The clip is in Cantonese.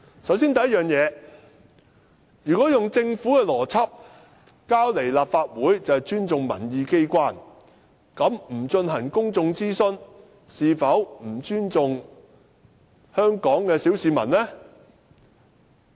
首先，如果用政府的邏輯，提交立法會便是尊重民意機關的話，那麼不進行公眾諮詢，是否不尊重香港的小市民呢？